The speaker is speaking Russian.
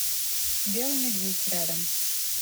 белый медведь рядом